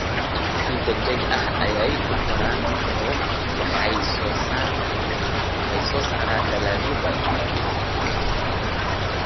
Si degdeg ah ayay u koraan oo waxay soo saaraan dalagyo badan.